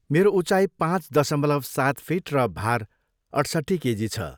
मेरो उचाइ पाँच दशमलव सात फिट र भार अठसट्ठी केजी छ।